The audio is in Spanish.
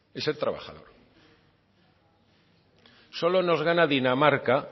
es el trabajador solo nos gana dinamarca